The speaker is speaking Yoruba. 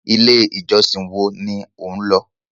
1. ilé ìjọsìn woa ni o nlọ